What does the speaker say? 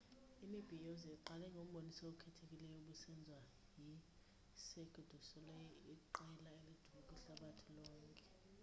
imibhiyozo iqale ngomboniso okhethekileyo obusenziwa yicirque du solei iqela elidume kwihlabathi lonkel